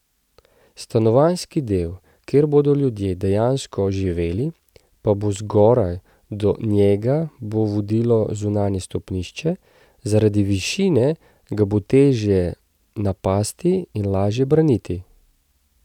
Stanovanjski del, kjer bodo ljudje dejansko živeli, pa bo zgoraj, do njega bo vodilo zunanje stopnišče, zaradi višine ga bo težje napasti in lažje braniti.